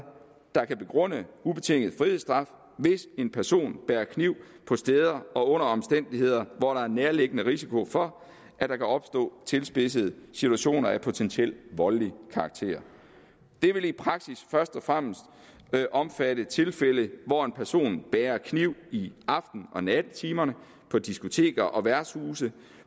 der kan begrunde ubetinget frihedsstraf hvis en person bærer kniv på steder og under omstændigheder hvor der er en nærliggende risiko for at der kan opstå tilspidsede situationer af potentielt voldelig karakter det vil i praksis først og fremmest omfatte tilfælde hvor en person bærer kniv i aften og nattetimerne på diskoteker og værtshuse